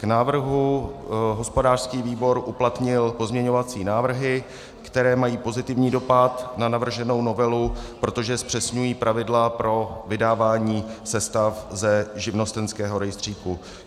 K návrhu hospodářský výbor uplatnil pozměňovací návrhy, které mají pozitivní dopad na navrženou novelu, protože zpřesňují pravidla pro vydávání sestav ze živnostenského rejstříku.